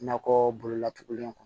Nakɔ bolola togolen kɔnɔ